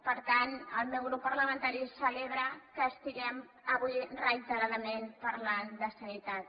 per tant el meu grup parlamentari celebra que estiguem avui reiteradament parlant de sanitat